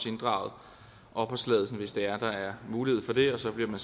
inddraget opholdstilladelsen hvis der er mulighed for det og så bliver